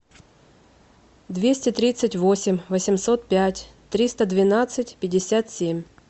двести тридцать восемь восемьсот пять триста двенадцать пятьдесят семь